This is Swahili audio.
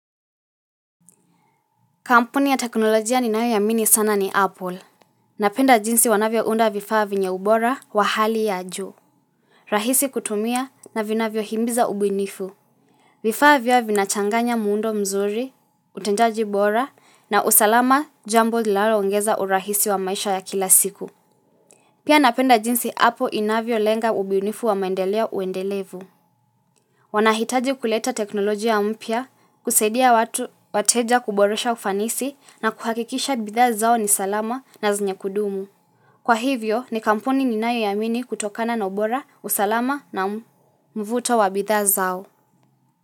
Kampuni ya teknolojia ninayo amini sana ni Apple. Napenda jinsi wanavyo unda vifaa venye ubora wa hali ya juu. Rahisi kutumia na vinavyo himiza ubunifu. Vifaa vyao vinachanganya muundo mzuri, utendaji bora na usalama jambo linalo ongeza urahisi wa maisha ya kila siku. Pia napenda jinsi Apple inavyolenga ubunifu wa maendeleo uendelevu. Wanahitaji kuleta teknolojia mpya, kusaidia watu wateja kuboresha ufanisi na kuhakikisha bidhaa zao ni salama na zenye kudumu. Kwa hivyo, ni kampuni ninayoiamini kutokana na ubora, usalama na mvuto wa bidhaa zao.